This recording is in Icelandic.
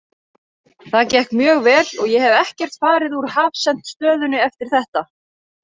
Það gekk mjög vel og ég hef ekkert farið úr hafsent stöðunni eftir þetta.